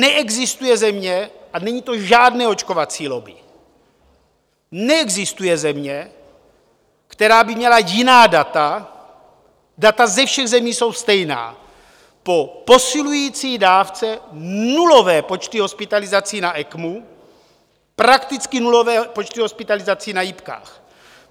Neexistuje země - a není to žádné očkovací lobby - neexistuje země, která by měla jiná data, data ze všech zemí jsou stejná: po posilující dávce nulové počty hospitalizací na ECMO, prakticky nulové počty hospitalizací na jipkách.